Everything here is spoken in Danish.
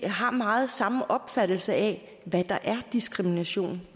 meget har samme opfattelse af hvad der er diskrimination